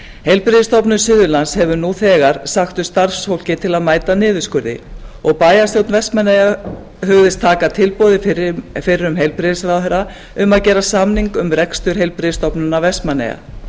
heilbrigðisstofnun suðurlands hefur nú þegar sagt upp starfsfólki til að mæta niðurskurði og bæjarstjórn vestmannaeyja hugðist taka tilboði fyrrum heilbrigðisráðherra um að gera samning um rekstur heilbrigðisstofnunar vestmannaeyja